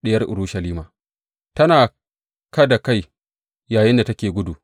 Diyar Urushalima tana kada kai yayinda kake gudu.